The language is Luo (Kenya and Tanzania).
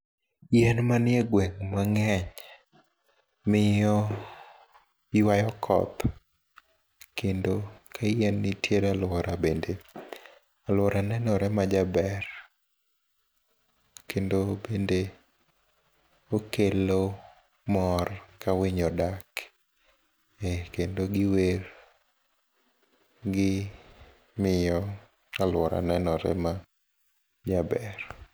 Yien manie gweng' mang'eny miyo yuayo koth kendo ka yien ntiere aluora bende aluora nenore majaber kendo bende okelo mor kawinyo odak kendo giwer gimiyo aluora nenore majaber.